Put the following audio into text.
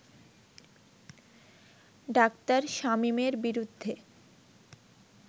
ডা. শামীমের বিরুদ্ধে